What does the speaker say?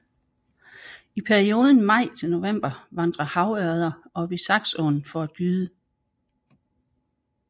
I perioden maj til november vandrer havørreder op i Saxåen for at gyde